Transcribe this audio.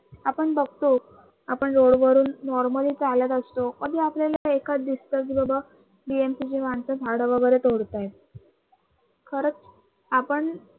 आपण बघतो आपण road वरून normally चालत असतो तरी आपल्याला तिथे एकच दिसते की बाबा चे माणसं झाडं वगरे तोडत आहे. खरच आपण